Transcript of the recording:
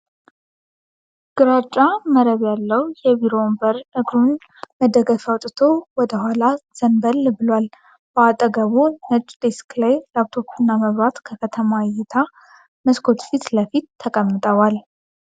ግራጫ መረብ ያለው የቢሮ ወንበር እግሩን መደገፊያ አውጥቶ ወደ ኋላ ዘንበል ብሏል። በአጠገቡ ነጭ ዴስክ ላይ ላፕቶፕ እና መብራት ከከተማ እይታ መስኮት ፊት ለፊት ተቀምጠዋል።